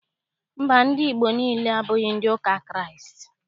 Mba, ndị Igbo niile, abụghị ndị ụka Kraịst.